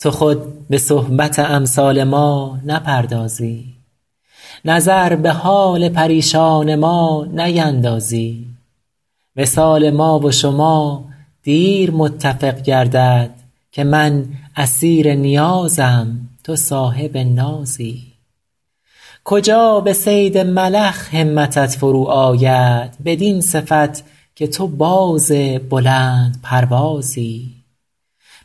تو خود به صحبت امثال ما نپردازی نظر به حال پریشان ما نیندازی وصال ما و شما دیر متفق گردد که من اسیر نیازم تو صاحب نازی کجا به صید ملخ همتت فرو آید بدین صفت که تو باز بلندپروازی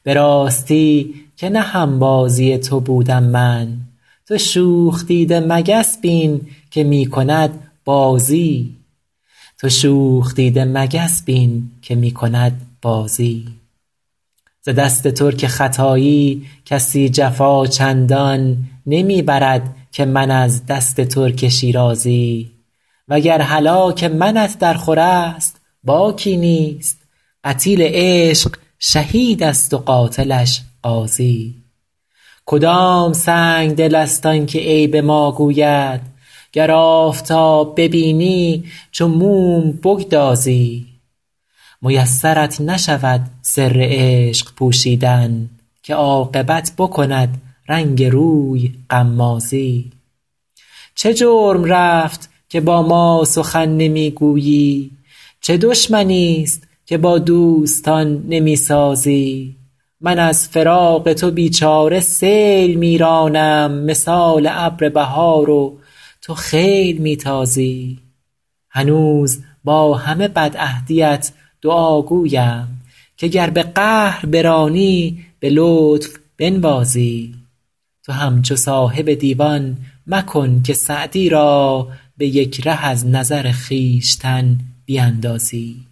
به راستی که نه هم بازی تو بودم من تو شوخ دیده مگس بین که می کند بازی ز دست ترک ختایی کسی جفا چندان نمی برد که من از دست ترک شیرازی و گر هلاک منت درخور است باکی نیست قتیل عشق شهید است و قاتلش غازی کدام سنگدل است آن که عیب ما گوید گر آفتاب ببینی چو موم بگدازی میسرت نشود سر عشق پوشیدن که عاقبت بکند رنگ روی غمازی چه جرم رفت که با ما سخن نمی گویی چه دشمنیست که با دوستان نمی سازی من از فراق تو بی چاره سیل می رانم مثال ابر بهار و تو خیل می تازی هنوز با همه بدعهدیت دعاگویم که گر به قهر برانی به لطف بنوازی تو همچو صاحب دیوان مکن که سعدی را به یک ره از نظر خویشتن بیندازی